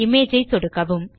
image ஐ சொடுக்கவும்